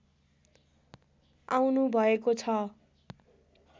आउनु भएको छ